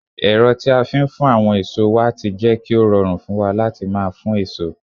ero ti a fi n fun awon eso wa ti je ki o rorun fun wa lati maa fun eso